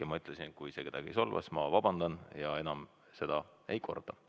Ja ma ütlesin, et kui see kedagi solvas, siis ma vabandan ja enam seda ei korda.